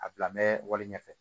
A bila wale ɲɛfɛ